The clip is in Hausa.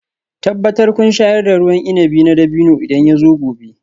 Tabbatar kun shayar da ruwan inabi na dabino idan yazo gobe